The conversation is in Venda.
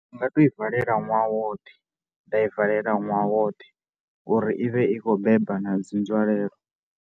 Ndi nga tou i valela ṅwaha woṱhe, nda i valela ṅwaha woṱhe uri i vhe i kho beba na dzi nzwalelo.